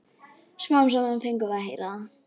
Smám saman fengum við að heyra það.